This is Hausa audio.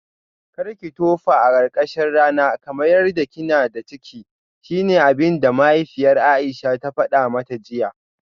Karki tofa a karkashin rana kamar yadda kina da ciki shine abinda mahaifiyar Aisha ta fada mata jiya?